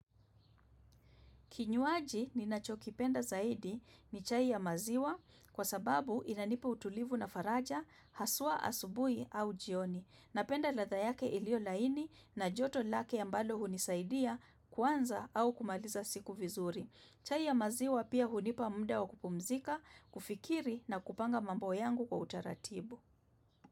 Kinywaji ni nacho kipenda zaidi ni chai ya maziwa kwa sababu inanipa utulivu na faraja, haswa asubuhi au jioni. Napenda ladha yake iliyo laini na joto lake ambalo hunisaidia kuanza au kumaliza siku vizuri. Chai ya maziwa pia hunipa muda wa kupumzika, kufikiri na kupanga mambo yangu kwa utaratibu.